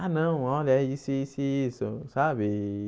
Ah não, olha, é isso, isso e isso, sabe?